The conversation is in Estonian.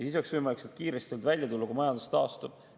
Sealt kiiresti välja tulla oleks olnud võimalik siis, kui majandus oleks taastunud.